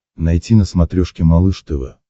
найти на смотрешке малыш тв